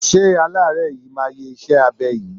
Ṣé aláárẹ̀ yìí máa ye iṣẹ́ abẹ yìí?